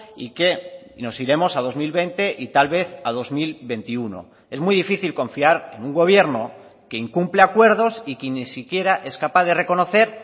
y que nos iremos a dos mil veinte y tal vez a dos mil veintiuno es muy difícil confiar en un gobierno que incumple acuerdos y que ni siquiera es capaz de reconocer